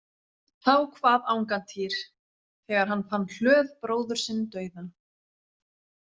Þá kvað Angantýr, þegar hann fann Hlöð bróður sinn dauðan.